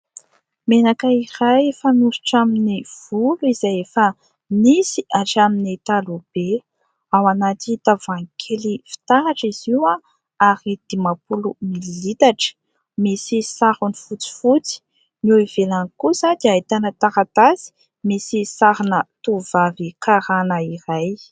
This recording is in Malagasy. Menaka iray fanosotra amin'ny volo izay efa nisy hatramin'ny taloha be, ao anaty tavoahangy kely fitaratra izy io aho ary dimampolo mililitatra, misy sarony fotsifotsy. Ny ivelany kosa dia ahitana taratasy misy sarina tovovavy karàna iray.